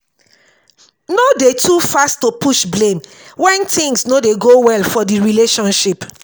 no de too fast to push blame when things no dey go well for di relationship